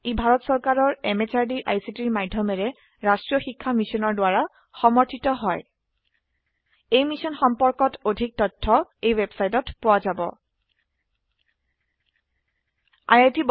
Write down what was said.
ই ভাৰত চৰকাৰৰ MHRDৰ ICTৰ মাধয়মেৰে ৰাস্ত্ৰীয় শিক্ষা মিছনৰ দ্ৱাৰা সমৰ্থিত হয় এই মিশ্যন সম্পৰ্কত অধিক তথ্য spoken hyphen tutorial dot org slash এনএমইআইচিত হাইফেন ইন্ট্ৰ ৱেবচাইটত পোৱা যাব